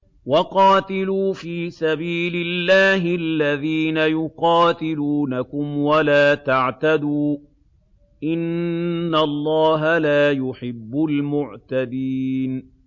وَقَاتِلُوا فِي سَبِيلِ اللَّهِ الَّذِينَ يُقَاتِلُونَكُمْ وَلَا تَعْتَدُوا ۚ إِنَّ اللَّهَ لَا يُحِبُّ الْمُعْتَدِينَ